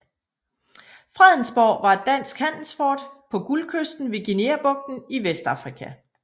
Fredensborg var et dansk handelsfort på Guldkysten ved Guineabugten i Vestafrika